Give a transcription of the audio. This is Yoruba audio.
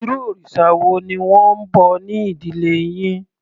Irú òrìsà wo ni wọ́n ń bọ ní ìdílé yín?